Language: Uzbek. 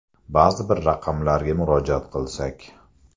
Ba’zi bir raqamlarga murojaat qilsak.